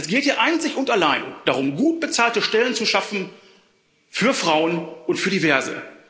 Es geht hier einzig und allein darum, gut bezahlte Stellen zu schaffen für Frauen und für Diverse.